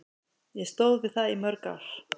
Ég stóð við það í mörg ár.